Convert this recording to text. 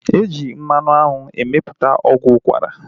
E ji mmanụ anwụ emeputa ọgwụ ukwara